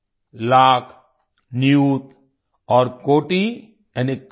लाख नियुत और कोटि यानी करोड़